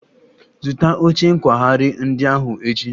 Zụta oche nkwagharị ndị ahụ echi!